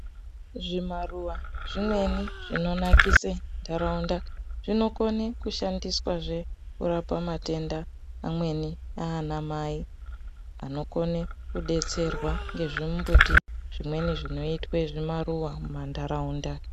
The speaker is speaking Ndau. Zvimaruva zvimweni zvinonakise nharaunda zvinokone kushandiswa kurape matenda mamweni ana mai anokone kudetserwa kuti zvimweni zvinoitwa zvimaruva mumandaraunda.